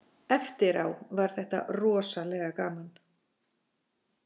Eftirá var þetta rosalega gaman